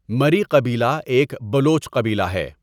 ٌٌمری قبیلہ ایک بلوچ قبیلہ ہے.